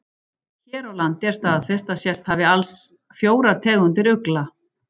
Hér á landi er staðfest að sést hafi alls fjórar tegundir ugla.